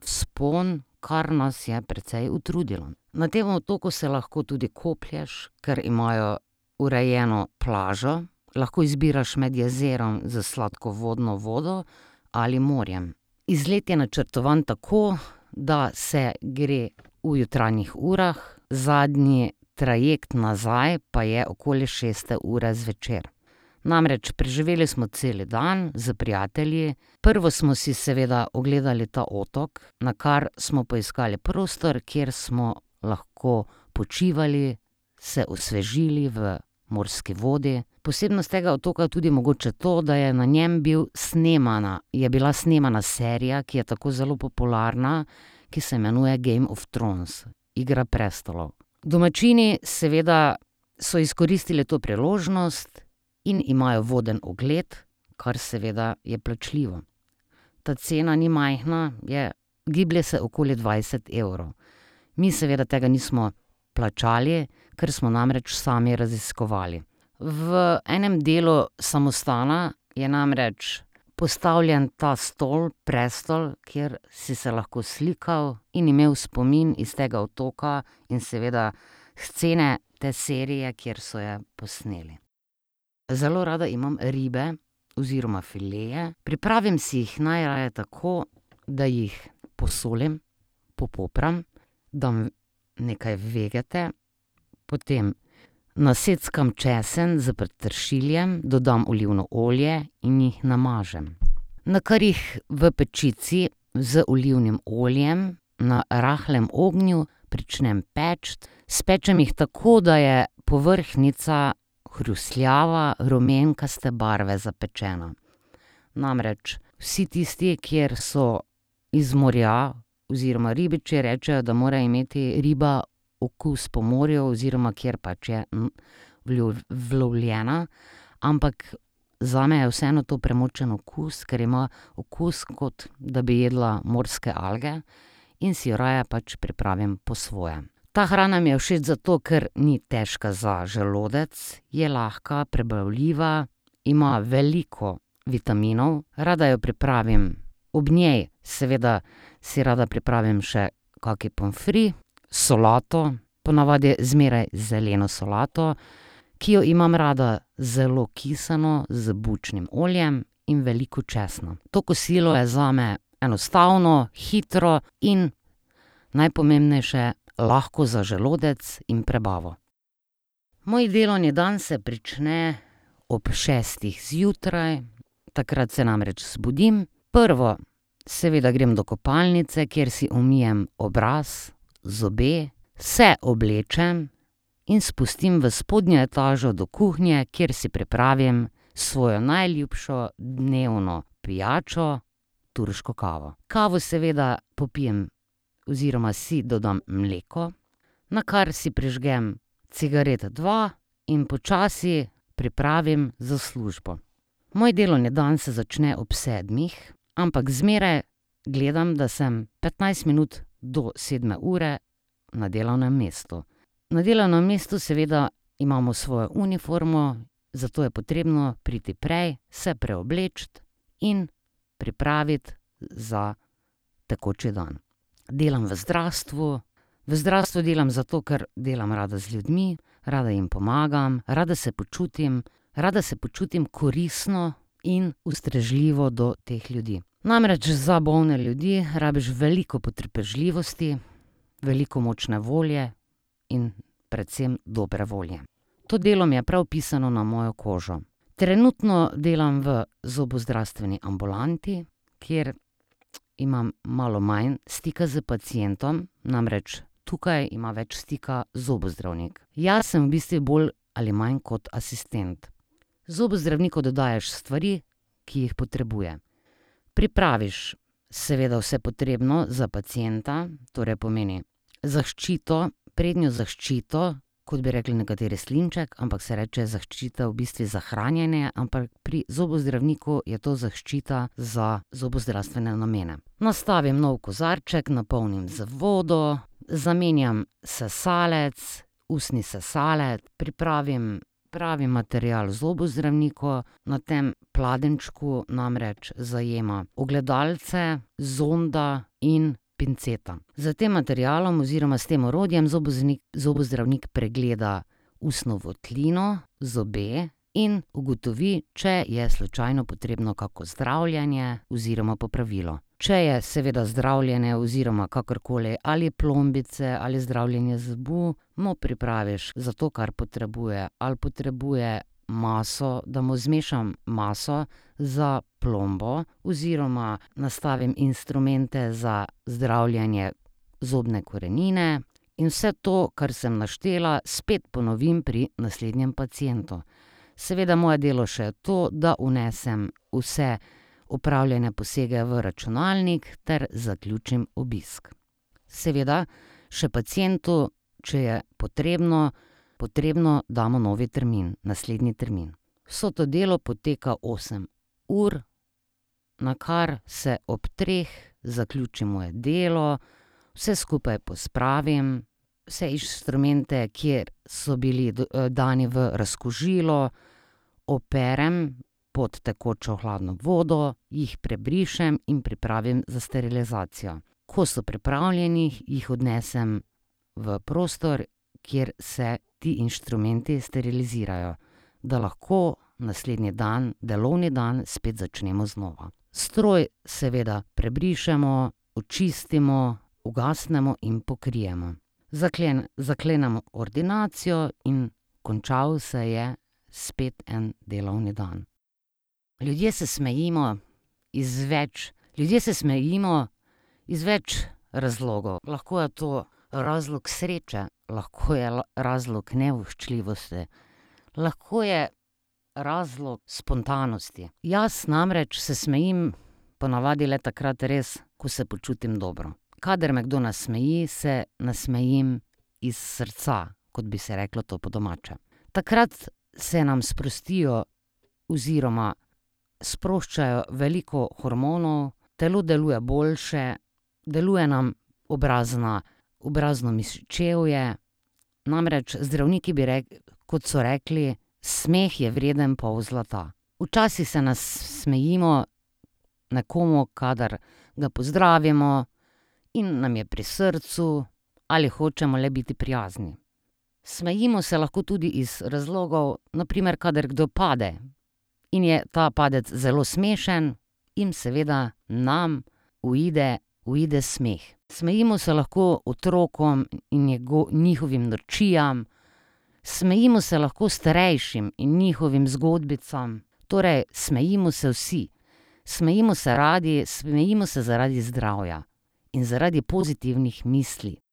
vzpon, kar nas je precej utrudilo. Na tem otoku se lahko tudi koplješ, ker imajo urejeno plažo. Lahko izbiraš med jezerom s sladkovodno vodo ali morjem. Izlet je načrtovan tako, da se gre v jutranjih urah, zadnji trajekt nazaj pa je okoli šeste ure zvečer. Namreč preživeli smo cel dan s prijatelji. Prvo smo si seveda ogledali ta otok, nakar smo poiskali prostor, kjer smo lahko počivali, se osvežili v morski vodi. Posebnost tega otoka je tudi mogoče to, da je na njem bil snemana, je bila snemana serija, ki je tako zelo popularna, ki se imenuje Game of Thrones, Igra prestolov. Domačini seveda so izkoristili to priložnost in imajo voden ogled, kar seveda je plačljivo. Ta cena ni majhna, je, giblje se okoli dvajset evrov. Mi seveda tega nismo plačali, ker smo namreč sami raziskovali. V enem delu samostana je namreč postavljen ta stol, prestol, kjer si se lahko slikal in imel spomin iz tega otoka in seveda scene te serije, kjer so je posneli. Zelo rada imam ribe oziroma fileje. Pripravim si jih najraje tako, da jih posolim, popopram, dam nekaj vegete, potem naseckam česen s petršiljem, dodam olivno olje in jih namažem. Nakar jih v pečici z olivnim oljem na rahlem ognju pričnem peči. Spečem jih tako, da je povrhnjica hrustljava, rumenkaste barve, zapečena. Namreč vsi tisti, kjer so iz morja, oziroma ribiči rečejo, da mora imeti riba okus po morju oziroma kjer pač je ulovljena. Ampak zame je vseeno to premočen okus, ker ima okus, kot da bi jedla morske alge in si jo raje pač pripravim po svoje. Ta hrana mi je všeč zato, ker ni težka za želodec. Je lahka, prebavljiva, ima veliko vitaminov. Rada jo pripravim. Ob njej seveda si rada pripravim še kak pomfri, solato, ponavadi zmeraj zeleno solato, ki jo imam rada zelo kisano, z bučnim oljem in veliko česna. To kosilo je zame enostavno, hitro in najpomembnejše, lahko za želodec in prebavo. Moj delovni dan se prične ob šestih zjutraj. Takrat se namreč zbudim. Prvo seveda grem do kopalnice, kjer si umijem obraz, zobe, se oblečem in spustim v spodnjo etažo do kuhnje, kjer si pripravim svojo najljubšo dnevno pijačo, turško kavo. Kavo seveda popijem oziroma si dodam mleko. Nakar si prižgem cigaret, dva, in počasi pripravim za službo. Moj delovni dan se začne ob sedmih, ampak zmeraj gledam, da sem petnajst minut do sedme ure na delovnem mestu. Na delovnem mestu seveda imamo svojo uniformo, zato je potrebno priti prej, se preobleči in pripraviti za tekoči dan. Delam v zdravstvu. V zdravstvu delam zato, ker delam rada z ljudmi, rada jim pomagam, rada se počutim, rada se počutim koristno in ustrežljivo do teh ljudi. Namreč za bolne ljudi rabiš veliko potrpežljivosti, veliko močne volje in predvsem dobre volje. To delo mi je prav pisano na mojo kožo. Trenutno delam v zobozdravstveni ambulanti, kjer imam malo manj stika s pacientom, namreč tukaj ima več stika zobozdravnik. Jaz sem v bistvu bolj ali manj kot asistent. Zobozdravniku da daješ stvari, ki jih potrebuje. Pripraviš seveda vse potrebno za pacienta, torej pomeni zaščito, prednjo zaščito, kot bi rekli nekateri, slinček, ampak se reče zaščita v bistvu za hranjenje, ampak pri zobozdravniku je to zaščita za zobozdravstvene namene. Nastavim nov kozarček, napolnim z vodo, zamenjam sesalec, ustni ssalec, pripravim pravi material zobozdravniku, na tem pladenjčku namreč zajema ogledalce, zonda in pinceta. S tem materialom oziroma s tem orodjem zobodravnik pregleda ustno votlino, zobe in ugotovi, če je slučajno potrebno kako zdravljenje oziroma popravilo. Če je seveda zdravljenje oziroma kakorkoli, ali plombice ali zdravljenje zoba, mu pripraviš za to, kar potrebuje. Ali potrebuje maso, da mu zmešam maso za plombo oziroma nastavim instrumente za zdravljenje zobne korenine. In vse to, kar sem naštela, spet ponovim pri naslednjem pacientu. Seveda je moje delo še to, da vnesem vse opravljene posege v računalnik ter zaključim obisk. Seveda še pacientu, če je potrebno, potrebno, damo nov termin, naslednji termin. Vse to delo poteka osem ur, nakar se ob treh zaključi moje delo. Vse skupaj pospravim, vse inštrumente, ki so bili dani v razkužilo, operem pod tekočo hladno vodo, jih prebrišem in pripravim za sterilizacijo. Ko so pripravljeni, jih odnesem v prostor, kjer se ti inštrumenti sterilizirajo. Da lahko naslednji dan delovni dan spet začnemo znova. Stroj seveda prebrišemo, očistimo, ugasnemo in pokrijemo. zaklenemo ordinacijo in končal se je spet en delovni dan. Ljudje se smejimo iz več, ljudje se smejimo iz več razlogov. Lahko je to razlog sreče, lahko je razlog nevoščljivosti, lahko je razlog spontanosti. Jaz namreč se smejim ponavadi le takrat res, ko se počutim dobro. Kadar me kdo nasmeji, se nasmejim iz srca, kot bi se reklo to po domače. Takrat se nam sprostijo oziroma sproščajo veliko hormonov, telo deluje boljše, deluje nam obrazna, obrazno mišičevje. Namreč zdravniki bi kot so rekli, smeh je vreden pol zlata. Včasih se nasmejimo nekomu, kadar ga pozdravimo in nam je pri srcu ali hočemo le biti prijazni. Smejimo se lahko tudi iz razlogov, na primer, kadar kdo pade in je ta padec zelo smešen. In seveda nam uide, uide smeh. Smejimo se lahko otrokom in njihovim norčijam, smejimo se lahko strejšim in njihovim zgodbicam. Torej smejimo se vsi. Smejimo se radi, smejimo se zaradi zdravja in zaradi pozitivnih misli.